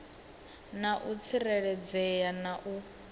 na u tsireledzea na u